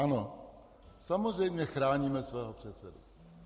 Ano, samozřejmě chráníme svého předsedu.